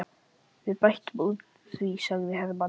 Við bætum úr því, sagði Hermann.